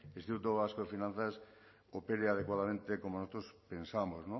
instituto vasco de finanzas opere adecuadamente como nosotros pensamos